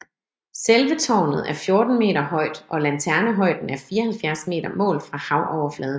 Selve tårnet er 14 meter højt og lanternehøjden er 74 meter målt fra havoverfladen